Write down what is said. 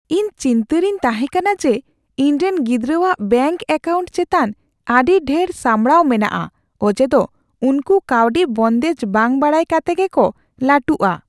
ᱤᱧᱫᱚ ᱪᱤᱱᱛᱟᱹ ᱨᱮᱧ ᱛᱟᱦᱮᱸᱠᱟᱱᱟ ᱡᱮ ᱤᱧᱨᱮᱱ ᱜᱤᱫᱽᱨᱟᱹᱣᱟᱜ ᱵᱮᱝᱠ ᱮᱠᱟᱣᱩᱱᱴ ᱪᱮᱛᱟᱱ ᱟᱹᱰᱤ ᱰᱷᱮᱨ ᱥᱟᱢᱲᱟᱣ ᱢᱮᱱᱟᱜᱼᱟ ᱚᱡᱮ ᱫᱚ ᱩᱱᱠᱩ ᱠᱟᱹᱣᱰᱤ ᱵᱚᱱᱫᱮᱡ ᱵᱟᱝ ᱵᱟᱰᱟᱭ ᱠᱟᱛᱮ ᱜᱮᱠᱚ ᱞᱟᱹᱴᱩᱜᱼᱟ ᱾